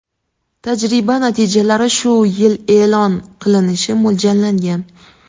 Tajriba natijalari shu yil e’lon qilinishi mo‘ljallangan.